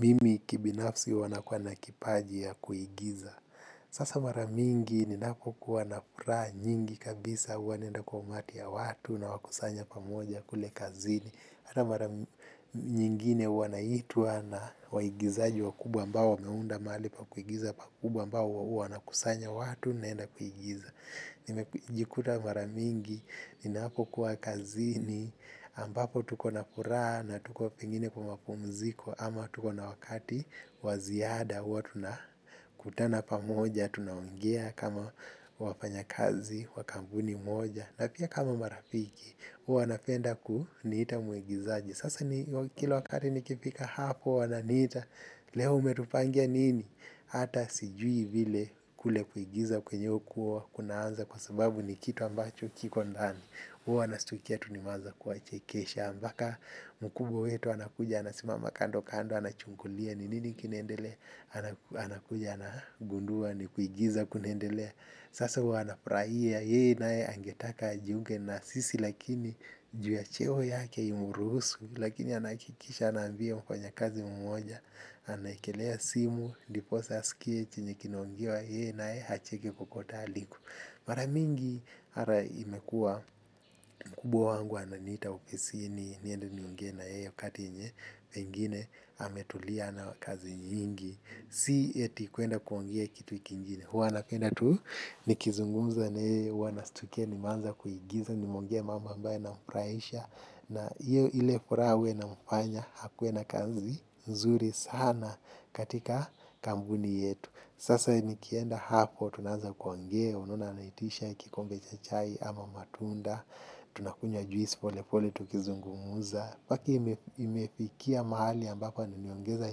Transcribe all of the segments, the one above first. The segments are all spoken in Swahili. Mimi kibinafsi huwa nakuwa nakipaji ya kuigiza. Sasa maramingi ni nako kuwa na furaha nyingi kabisa huwanaenda kwa umati ya watu na wakusanya pamoja kule kazini. Hana maramingi nyingine wanaitwa na waigizaji wa kubwa ambao wameunda mali pa kuigiza pa kubwa mbao wana kusanya watu naenda kuigiza. Nimejikuta maramingi, ninapo kuwa kazini, ambapo tuko na furaha na tuko pengine kumapumziko ama tuko na wakati waziada uwa tunakutana pamoja, tunaongea kama wafanya kazi, wa kambuni moja. Na pia kama marafiki, wanapenda kuniita muigizaji. Sasa kila wakati nikifika hapo wana niita. Leo umetupangia nini? Hata sijui vile kule kuigiza kwenye ukuwa kunaanza kwa sababu ni kitu ambacho kiko ndani. Huo nastukia tunimaza kuwachekesha ambaka mkubo wetu anakuja anasimama kando kando anachungulia ni nini kinendelea. Anakuja anagundua ni kuigiza kunendelea. Sasa huwa anafraia ye nae angetaka ajunge na sisi lakini juu ya cheo yake imuruhusu. Lakini anaakikisha anambia mfanya kazi mmoja anaekelea simu ndiposa asikie chenye kinaongiwa yeye nae acheke kokote aliko. Maramingi ara imekua kubwa wangu ananita upisi ni niende nionge na yeye kati enye pengine ametulia na kazi nyingi. Si eti kuenda kuongea kitu iki njini. Huwa na kuenda tu nikizungumza na yeye huwana stukia ni manza kuigiza nimeongea mambo ambaayo inamfuraisha. Na iyo ile fura we na mpanya hakue na kazi nzuri sana katika kambuni yetu. Sasa nikienda hapo, tunaza kuongea, unaona anaitisha kikombe cha chai ama matunda, tunakunywa juisi pole pole tukizungumuza. Paki imefikia mahali ambako niongeza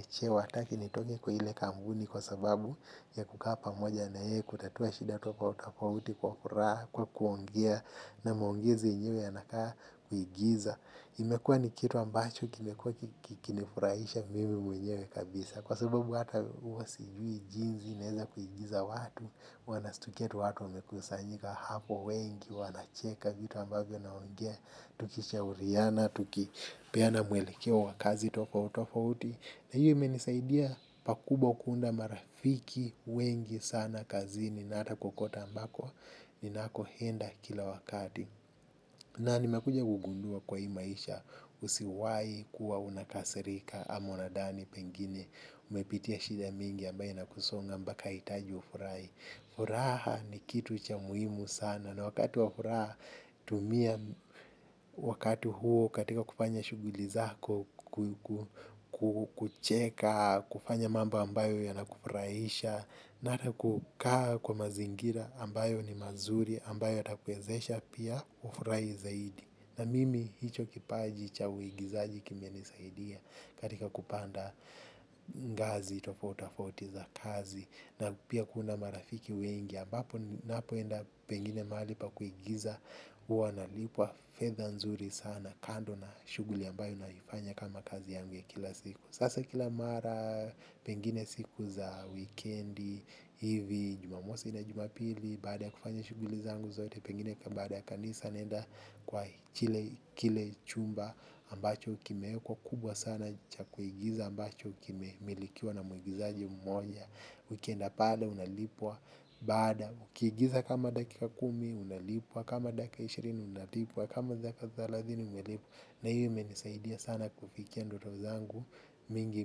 cheo, ataki nitoke kwa hile kambuni kwa sababu ya kuka pamoja na ye, kutatua shida tofautapauti kwa kuraha, kwa kuongea, na mwongezi nyewe yanakaa kuigiza. Imekua ni kitu ambacho kinifurahisha mimi mwenyewe kabisa. Kwa sababu hata uwasijui jinzi naeza kuigiza watu. Wanastukia tu watu wamekusanyika hapo wengi. Wanacheka vitu ambavyo naongea. Tukishauriana, tuki peana mwelekeo wakazi tofautofauti. Na hiyo imenisaidia pakubwa kuunda marafiki wengi sana kazini. Na hata kokota ambako ninako henda kila wakati. Na nimekuja kugundua kwa hii maisha usiwai kuwa unakasirika ama unadani pengine. Umepitia shida mingi ambaye na kusonga mbaka itaji ufurahi. Furaha ni kitu cha muhimu sana na wakati wa furaha tumia wakatu huo katika kufanya shuguli zako. Kucheka, kufanya mambo ambayo yanakufurahisha. Na hata kukaa kwa mazingira ambayo ni mazuri ambayo yatakuwezesha pia ufurai zaidi. Na mimi hicho kipaji cha uigizaji kimenisaidia katika kupanda ngazi tofautafauti za kazi. Na pia kuunda marafiki wengi ambapo napoenda pengine maali pa kuigiza uanalipua fedha nzuri sana. Kando na shuguli ambayo naifanya kama kazi yangu ya kila siku. Sasa kila mara, pengine siku za wikendi hivi, jumamosi na jumapili, baada ya kufanya shuguli zangu zote, pengine kama baada ya kanisa nenda kwa kile chumba ambacho ukimeekwa kubwa sana cha kuigiza ambacho kimemilikiwa na muigizaji mmoja. Ukienda pale, unalipwa. Baada, ukiigiza kama dakika kumi, unalipwa. Kama dakika ishirini, unalipwa. Kama dakika thalazini, unalipwa. Na hiyo imenisaidia sana kufikia ndoto zangu mingi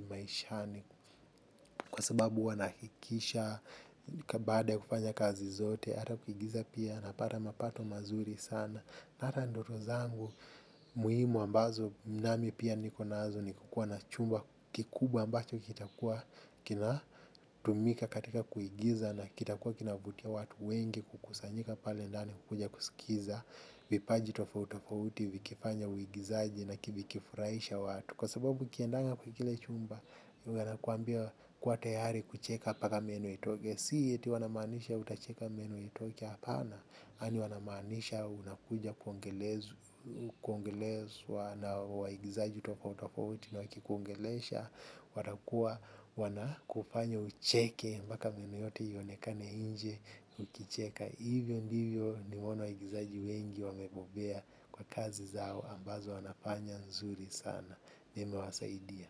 maishani. Kwa sababu huwa naakikisha baada ya kufanya kazi zote. Hata kuigiza pia na pata mapato mazuri sana. Hata ndoto zangu muhimu ambazo mnamipia niko nazo ni kukua na chumba kikubwa ambacho kitakua kina tumika katika kuigiza. Na kitakua kinavutia watu wengi kukusanyika pale ndani kukuja kusikiza. Vipaji tofautofauti vikifanya uigizaji na kivikifuraisha watu. Kwa sababu ukiendanga kwa kile chumba wanakuambia kuwa tayari kucheka paka meno itoke. Sii yeti wanamanisha utacheka menu itoke hapana. Ani wanamanisha unakuja kuongelezu. Kuongelezwa na waigizaji tofautofauti na wakikuongelesha. Watakua wana kufanya ucheke. Mbaka meno yote iyonekane inje ukicheka. Hivyo ndivyo nimeona waigizaji wengi wamebobea kwa kazi zao ambazo wanafanya nzuri sana. Na imewasaidia.